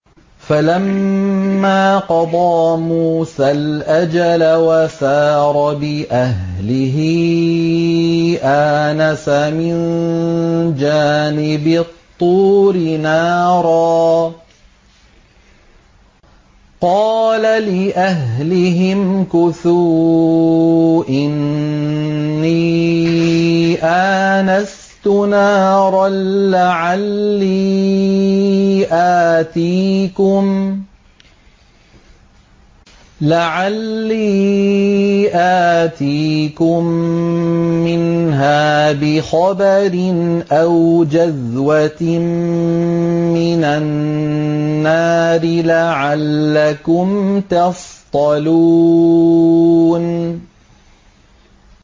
۞ فَلَمَّا قَضَىٰ مُوسَى الْأَجَلَ وَسَارَ بِأَهْلِهِ آنَسَ مِن جَانِبِ الطُّورِ نَارًا قَالَ لِأَهْلِهِ امْكُثُوا إِنِّي آنَسْتُ نَارًا لَّعَلِّي آتِيكُم مِّنْهَا بِخَبَرٍ أَوْ جَذْوَةٍ مِّنَ النَّارِ لَعَلَّكُمْ تَصْطَلُونَ